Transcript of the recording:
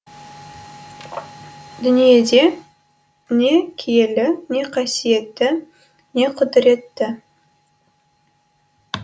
дүниеде не киелі не қасиетті не құдіретті